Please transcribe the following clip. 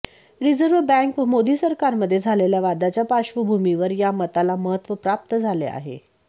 reserve bank व मोदी सरकारमध्ये झालेल्या वादाच्या पार्श्वभूमीवर या मताला महत्त्व प्राप्त झाले आहे